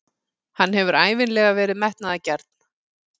Hann hefur ævinlega verið metnaðargjarn.